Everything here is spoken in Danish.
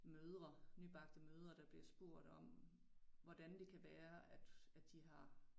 Mødre nybagte mødre der bliver spurgt om hvordan det kan være at at de har